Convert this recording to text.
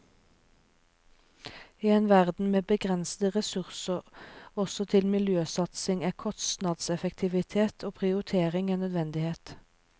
I en verden med begrensede ressurser også til miljøsatsing er kostnadseffektivitet og prioritering en nødvendighet.